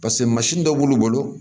paseke mansin dɔ b'olu bolo